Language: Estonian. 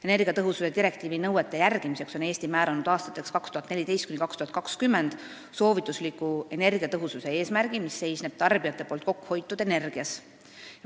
Energiatõhususe direktiivi nõuete järgimiseks on Eesti seadnud aastateks 2014–2020 soovitusliku energiatõhususe eesmärgi, mis seisneb tarbijate poolt kokkuhoitud energias.